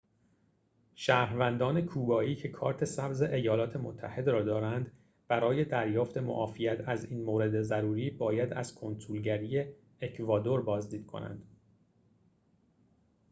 شهروندان کوبایی که کارت سبز ایالات متحده را دارند برای دریافت معافیت از این مورد ضروری باید از کنسولگری اکوادور بازدید کنند